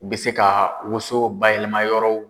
U bɛ se ka woso bayɛlɛma yɔrɔw